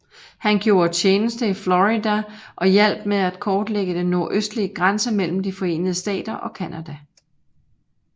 Han grjode tjeneste i Florida og hjalp med til at kortlægge den nordøstlige grænse mellem De Forenede Stater og Canada